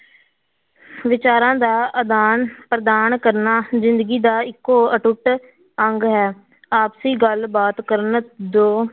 ਵਿਚਾਰਾਂ ਦਾ ਆਦਾਨ ਪ੍ਰਦਾਨ ਕਰਨਾ ਜ਼ਿੰਦਗੀ ਦਾ ਇੱਕੋ ਅਟੁੱਟ ਅੰਗ ਹੈ, ਆਪਸੀ ਗੱਲਬਾਤ ਕਰਨ ਦੋ